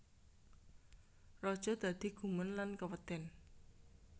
Raja dadi gumun lan keweden